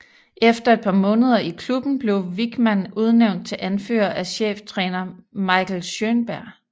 Efter et par måneder i klubben blev Wichmann udnævnt til anfører af cheftræner Michael Schjønberg